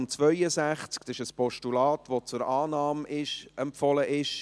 Es ist ein Postulat, das zur Annahme empfohlen ist.